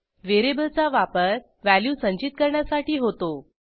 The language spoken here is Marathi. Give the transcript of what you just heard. व्हेरिएबलचा वापर व्हॅल्यू संचित करण्यासाठी होतो